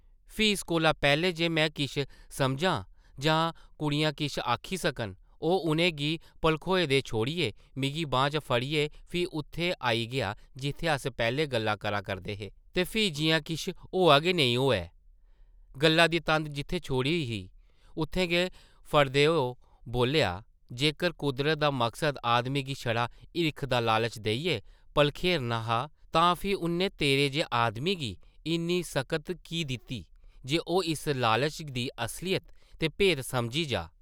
फ्ही इस कोला पैह्लें जे में किश समझां जां कुड़ियां किश आखी सकन, ओह् उʼनें गी भलखोए दे छोड़ियै मिगी बांह् दा फड़ियै फ्ही उत्थै आई गेआ जित्थै अस पैह्लें गल्लां करा करदे हे ते फ्ही जिʼयां किश होआ गै नेईं होऐ, गल्ला दी तंद जित्थै छोड़ी ही उत्थूं गै फड़दे ओह् बोल्लेआ, जेकर कुदरत दा मकसद आदमी गी छड़ा हिरख दा लालच देइयै भलखेरना हा तां फ्ही उʼन्नै तेरे जेह् आदमी गी इन्नी सकत की दित्ती जे ओह् इस लालच दी असलियत ते भेत समझी जाऽ ।